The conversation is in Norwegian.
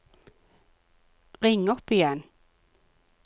ring opp igjen